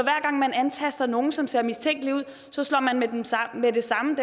gang man antaster nogen som ser mistænkelig ud med det samme